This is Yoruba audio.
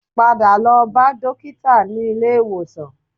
Padà lọ bá dókítà nílé ìwòsàn